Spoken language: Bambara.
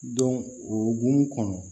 o hukumu kɔnɔ